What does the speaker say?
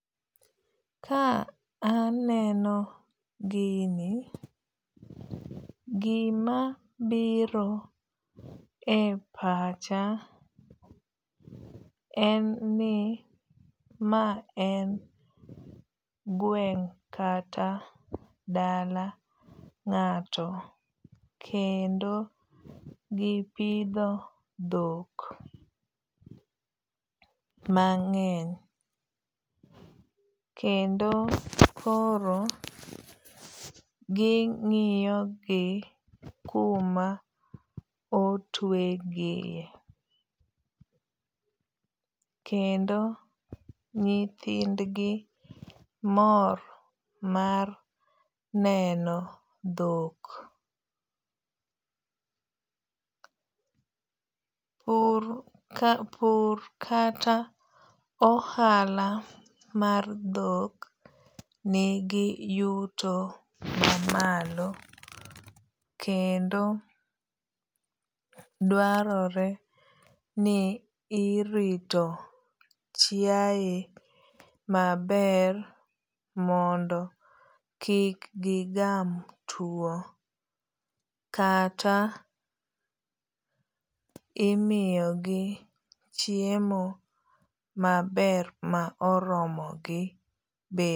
Ka aneno gini, gima biro e pacha en ni ma en gweng' kata dala ng'ato. Kendo gipidho dhok mang'eny. Kendo koro ging'iyo gi kuma otwe gie. Kendo nyithind gi mor mar neno dhok. Pur kata ohala mar dhok nigi yuto mamalo kendo dwarore ni irito chiaye maber mondo kik gigam tuo kata imiyo gi chiemo maber ma oromo gi.